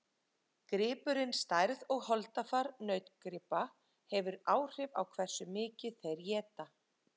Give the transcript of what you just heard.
Gripurinn Stærð og holdafar nautgripa hefur áhrif á hversu mikið þeir éta.